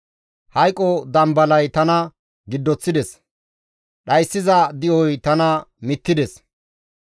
«Hayqo dambalay tana giddoththides; dhayssiza di7oy tana mittides.